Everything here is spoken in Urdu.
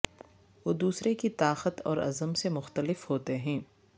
وہ دوسرے کی طاقت اور عزم سے مختلف ہوتے ہیں